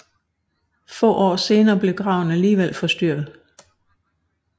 Få år senere blev graven alligevel forstyrret